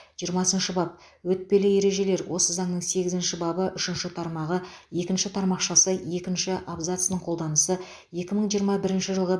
жирымасыншы бап өтпелі ережелер осы заңның сегізінші бабы үшінші тармағы екінші тармақшасы екінші абзацының қолданысы екі мың жиырма бірінші жылғы